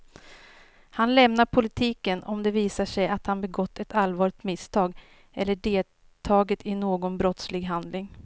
Han lämnar politiken om det visar sig att han begått ett allvarligt misstag eller deltagit i någon brottslig handling.